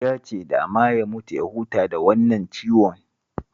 Ya ce dama ya mutu ya huta da wannan ciwon